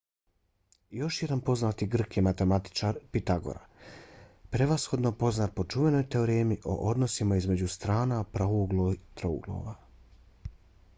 još jedan poznati grk je matematičar pitagora prevashodno poznat po čuvenoj teoremi o odnosima između strana pravouglih trouglova